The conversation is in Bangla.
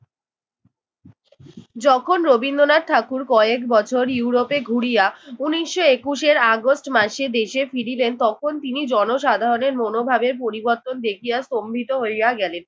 যখন রবীন্দ্রনাথ ঠাকুর কয়েক বছর ইউরোপে ঘুরিয়া উনিশশো একুশের আগষ্ট মাসে দেশে ফিরিলেন তখন তিনি জনসাধারণের মনোভাবের পরিবর্তন দেখিয়া স্তম্ভিত হইয়া গেলেন।